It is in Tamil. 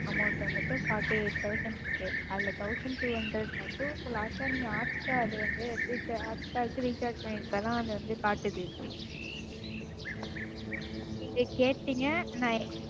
Amount வந்துட்டு Fourty eight thousand இருக்கு. அதுல Thousand two hundred மட்டும் இப்ப Last ஆ நீங்க Hotstar வந்து Hotstar க்கு Recharge பண்ணிருக்க அதான் வந்து காட்டுது. நீங்க கேட்டீங்க நான்,